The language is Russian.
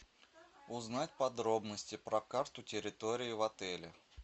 узнать подробности про карту территории в отеле